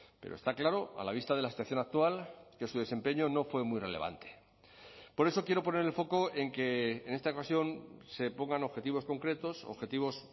pero está claro a la vista de la situación actual que su desempeño no fue muy relevante por eso quiero poner el foco en que en esta ocasión se pongan objetivos concretos objetivos